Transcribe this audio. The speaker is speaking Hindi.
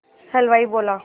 हलवाई बोला